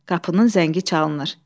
Qapının zəngi çalınır.